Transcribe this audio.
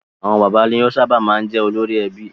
Àwọn father ni ó sábà máa ń jẹ́ olórí ẹbí.